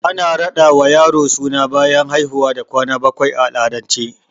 Ana raɗa ma yaro suna bayan haihuwa da kwana bakwai a al'adance